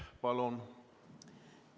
Palun!